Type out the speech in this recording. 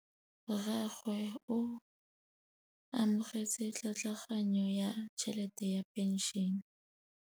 Rragwe o amogetse tlhatlhaganyô ya tšhelête ya phenšene.